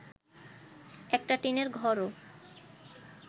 একটা টিনের ঘরও